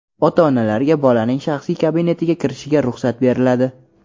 Ota-onalarga bolaning shaxsiy kabinetiga kirishiga ruxsat beriladi.